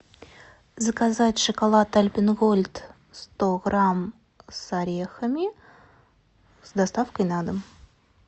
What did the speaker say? заказать шоколад альпен гольд сто грамм с орехами с доставкой на дом